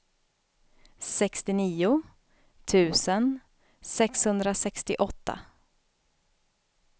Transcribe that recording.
sextionio tusen sexhundrasextioåtta